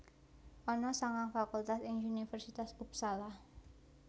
Ana sangang fakultas ing Universitas Uppsala